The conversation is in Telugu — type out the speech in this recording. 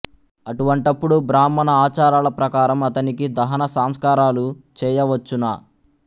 అటువంటప్పుడు బ్రాహ్మణ ఆచారాల ప్రకారం అతనికి దహన సంస్కారాలు చెయ్యవచ్చునా